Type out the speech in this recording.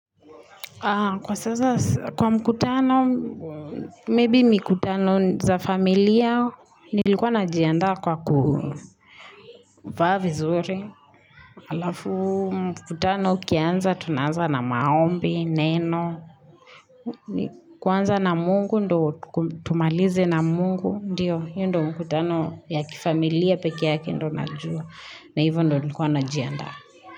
Kwa sasa, kwa mkutano, maybe mikutano za familia, nilikuwa najiandaa kwa kuvaa vizuri. Halafu mkutano ukianza, tunaanza na maombi, neno. Kuanza na mungu, ndio tumalize na mungu, ndiyo, hiyo ndio mkutano ya kifamilia pekee yake ndio najua, na hivo ndio nikuwa najiandaa.